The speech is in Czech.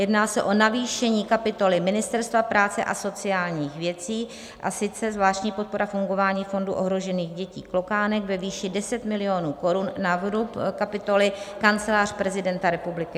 Jedná se o navýšení kapitoly Ministerstva práce a sociálních věcí, a sice zvláštní podpora fungování Fondu ohrožených dětí Klokánek ve výši 10 milionů korun na vrub kapitoly Kancelář prezidenta republiky.